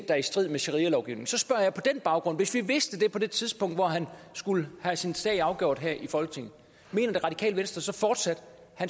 er i strid med sharialoven så spørger jeg på den baggrund hvis vi havde vidst det på det tidspunkt hvor han skulle have sin sag afgjort her i folketinget mener det radikale venstre så fortsat